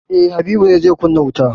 E, Habu ne zai kunna wuta?